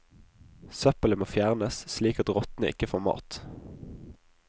Søppelet må fjernes, slik at rottene ikke får mat.